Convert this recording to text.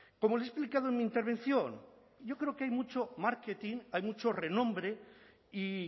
como le he explicado en mi intervención yo creo que hay mucho marketing hay mucho renombre y